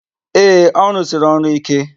Ee, ọ rụsiri ọrụ íké.